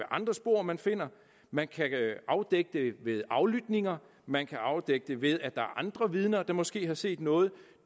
andre spor man finder man kan afdække det ved aflytninger man kan afdække det ved at der er andre vidner der måske har set noget